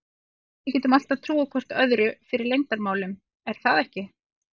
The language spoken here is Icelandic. Þú veist að við getum alltaf trúað hvor öðrum fyrir leyndarmálum er það ekki?